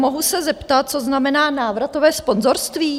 Mohu se zeptat, co znamená návratové sponzorství?